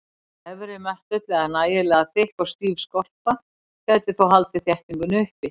Efri möttull eða nægilega þykk og stíf skorpu gæti þó haldið þéttingunni uppi.